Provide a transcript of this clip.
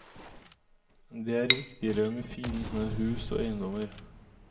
Det er viktigere med fine hus og eiendommer.